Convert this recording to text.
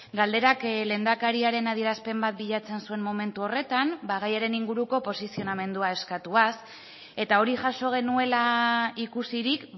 galderak lehendakariaren adierazpen bat bilatzen zuen momentu horretan gaiaren inguruko posizionamendua eskatuaz eta hori jaso genuela ikusirik